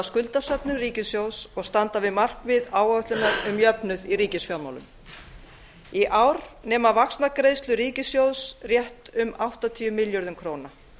skuldasöfnun ríkissjóðs og standa við markmið áætlunar um jöfnuð í ríkisfjármálum í ár nema vaxtagreiðslur ríkissjóðs rétt um áttatíu milljörðum króna